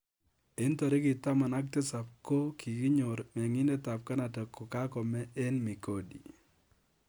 Eng tarik taman ak tisap ko kikinyoor mengindet ab canada ko ka kome eng migodi